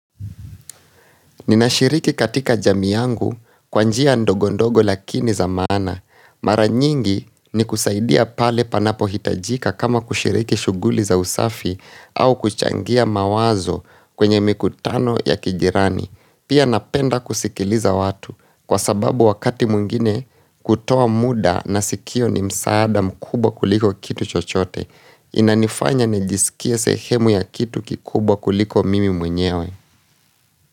Ninashiriki katika jamii yangu kwa njia ndogo ndogo lakini za maana. Mara nyingi ni kusaidia pale panapohitajika kama kushiriki shughuli za usafi au kuchangia mawazo kwenye mikutano ya kijirani. Pia napenda kusikiliza watu kwa sababu wakati mwingine kutoa muda na sikio ni msaada mkubwa kuliko kitu chochote. Inanifanya nijiskie sehemu ya kitu kikubwa kuliko mimi mwenyewe.